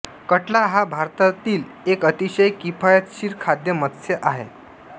कटला हा भारतातील एक अतिशय किफायतशीर खाद्य मत्स्य आहे